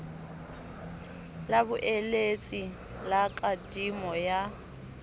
la boeletsi ba kadimo ya